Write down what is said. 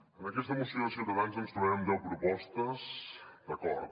en aquesta moció de ciutadans ens trobem amb deu propostes d’acord